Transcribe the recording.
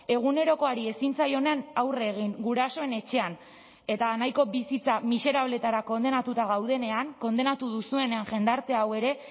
egunerokoari ezin zaionean aurre egin gurasoen etxean eta nahiko bizitza miserableetara kondenatuta gaudenean kondenatu duzuenean jendarte hau ere